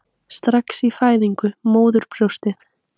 Strax í fæðingu: móðurbrjóstið.